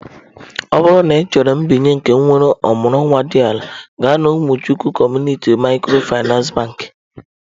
Ọ bụrụ na ị chọrọ mbinye nke nwere ọmụrụ nwa dị ala, gaa na umuchukwu Community micro Finance bakị.